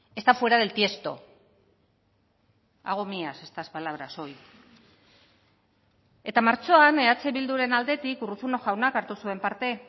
está fuera del tiesto hago mías estas palabras hoy eta martxoan eh bilduren aldetik urruzuno jaunak hartu zuen parte